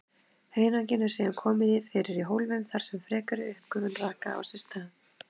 Hunanginu eru síðan komið fyrir í hólfum þar sem frekari uppgufun raka á sér stað.